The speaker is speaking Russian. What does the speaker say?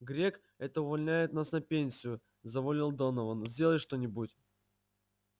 грег это он увольняет нас на пенсию завопил донован сделай что-нибудь